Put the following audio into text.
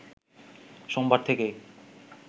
সোমবার থেকেই